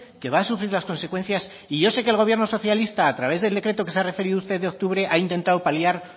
que va a sufrir las consecuencias y yo sé que el gobierno socialista a través del decreto a que se ha referido usted de octubre ha intentado paliar